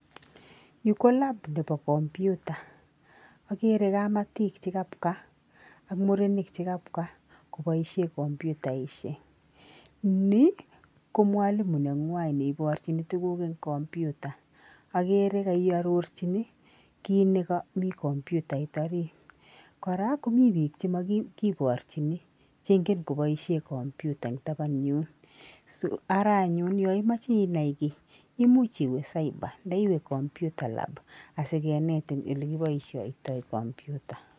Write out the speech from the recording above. Yu ko lab nebo kompyuta, ageere kamatik che kabwa ak murenik che kabwa kopishe komputaishek. Ni ko mwalimu nengwai ne iporchini tuguk eng kompyuta, ageere kaiarorchini kiit nekami komputait arit, kora komi biik chemakiporchini che ingeen kopoishen komputa eng taban yun, ara anyun yo imoche inai kiy imuch iwe cyber anan iwe computer lab asikenetin ole kipoisiotoi kompyuta.